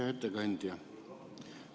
Hea ettekandja!